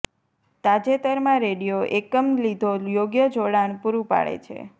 તાજેતરમાં રેડિયો એકમ લીધો યોગ્ય જોડાણ પૂરું પાડે છે